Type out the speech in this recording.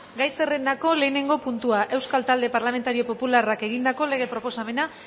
gai zerrendako lehenengo puntua euskal talde parlamentario popularrak egindako lege proposamena